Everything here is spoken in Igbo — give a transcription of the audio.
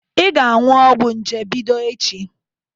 I ga-añụ ọgwọ nje bido echi.